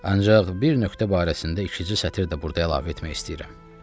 Ancaq bir nöqtə barəsində ikicə sətr də burda əlavə etmək istəyirəm.